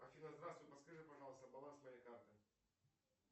афина здравствуй подскажи пожалуйста баланс моей карты